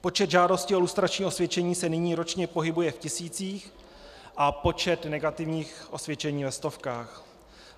Počet žádostí o lustrační osvědčení se nyní ročně pohybuje v tisících a počet negativních osvědčení ve stovkách.